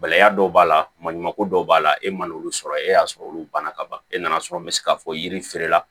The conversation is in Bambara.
Gɛlɛya dɔw b'a la maɲuman ko dɔw b'a la e man n'olu sɔrɔ e y'a sɔrɔ olu banna ka ban e nana sɔrɔ n bɛ se ka fɔ yiri feere la